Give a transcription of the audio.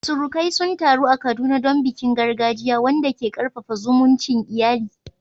Surukai sun taru a Kaduna don bikin gargajiya, wanda ke karfafa zumuncin iyali.